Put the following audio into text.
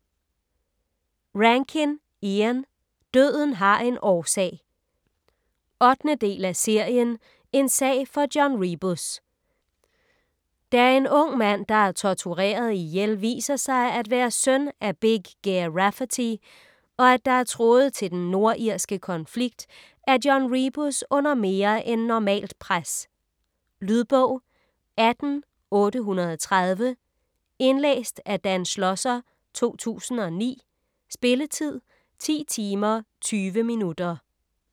Rankin, Ian: Døden har en årsag 8. del af serien En sag for John Rebus. Da en ung mand, der er tortureret ihjel, viser sig at være søn af Big Ger Rafferty, og at der er tråde til den nordirske konflikt, er John Rebus under mere end normalt pres. Lydbog 18830 Indlæst af Dan Schlosser, 2009. Spilletid: 10 timer, 20 minutter.